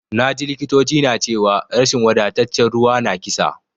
Naji likitoci na cewa rashin wadataccen ruwa yana kisa.